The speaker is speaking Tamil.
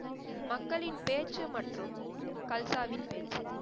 மக்களின் பேச்சு மற்றும் கல்சாவின் பேச்சு.